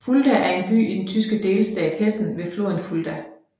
Fulda er en by i den tyske delstat Hessen ved floden Fulda